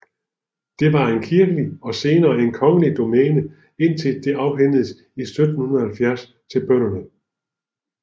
Det var en kirkelig og senere en kongelig domæne indtil det afhændedes i 1770 til bønderne